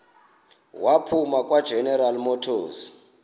waphuma kwageneral motors